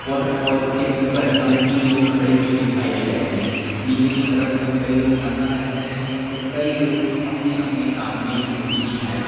Water fall के उपर हमें तीन लोग खड़े हुए दिखाई दे रहे है नीचे की तरफ भी कई लोग नहा रहे है तो कई लोग अपने अपने काम में बीजी है।